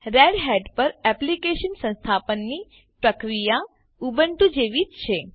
Red Hat પર Eclipse સંસ્થાપનની પ્રક્રિયા ઉબુન્ટુ જેવી જ છે